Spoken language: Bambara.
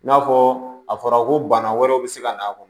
N'a fɔ a fɔra ko bana wɛrɛw bɛ se ka na a kɔnɔ